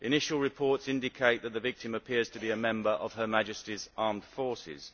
Initial reports indicate that the victim appears to be a member of Her Majesty's Armed Forces.